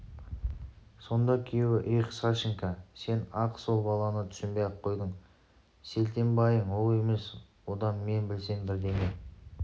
сонда күйеуі эх сашенька сен-ақ сол баланы түсінбей қойдың селтенбайың ол емес одан мен білсем бірдеңе